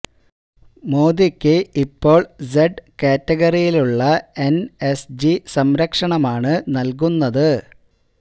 മോദിക്ക് ഇപ്പോള് സെഡ് കാറ്റഗറിയിലുള്ള എന് എസ് ജി സംരക്ഷണമാണ് നല്കുന്നത്